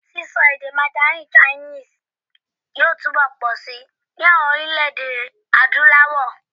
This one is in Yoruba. Sísọ èdè mandarin chinese yóò túnbọ̀ pọ̀si ní àwọn orílẹ̀-èdè Adúláwọ̀.